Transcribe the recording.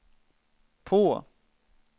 på